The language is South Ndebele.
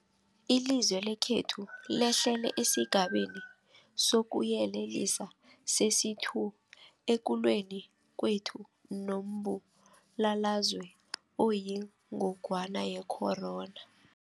Ilizwe lekhethu lehlele esiGabeni sokuYelelisa sesi-2 ekulweni kwethu nombulalazwe oyingogwana ye-corona.